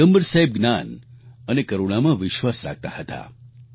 પયગમ્બર સાહેબ જ્ઞાન અને કરૂણામાં વિશ્વાસ રાખતા હતા